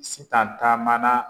Sitan taamana